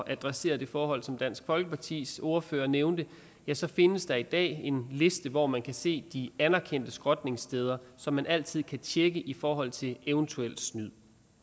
adressere det forhold som dansk folkepartis ordfører nævnte ja så findes der i dag en liste hvor man kan se de anerkendte skrotningssteder som man altid kan tjekke i forhold til eventuelt snyd